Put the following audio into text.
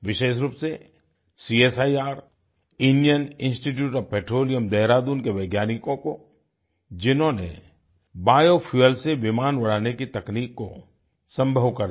विशेष रूप से CSIR Indian institute of petroleum Dehradun के वैज्ञानिकों को जिन्होनें बायोफ्यूल से विमान उड़ाने की तकनीक को संभव कर दिया